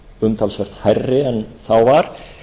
umtalsvert hærri en þá var